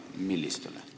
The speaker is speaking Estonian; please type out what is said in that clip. Millistele?